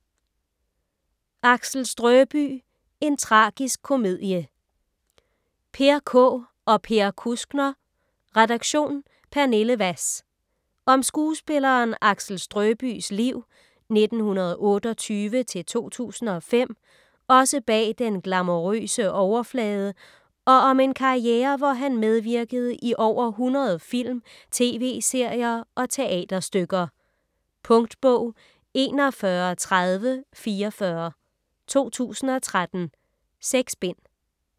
Axel Strøbye: en tragisk komedie Peer Kaae og Per Kuskner, redaktion: Pernille Wass. Om skuespilleren Axel Strøbyes liv (1928-2005) også bag den glamourøse overflade og om en karriere hvor han medvirkede i over 100 film, tv-serier og teaterstykker. Punktbog 413044 2013. 6 bind.